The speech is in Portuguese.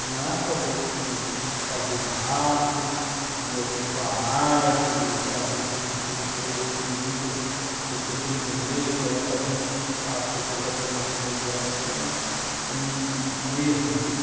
Não é a favor de fazer barraco, de ocupar área, de fazer esse tipo de coisa que muitas pessoas sem entender colocam a gente, as pessoas da coordenação do MDF, como um um erro.